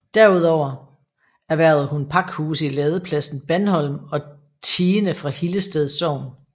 Derudover erhvervede hun pakhuse i ladepladsen Bandholm og tiende fra Hillested Sogn